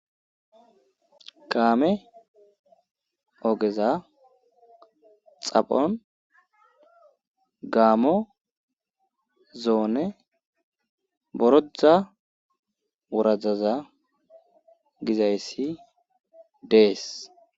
kaame ogeza xaphon gaamo zoone boroda wuradaza gizayssi dees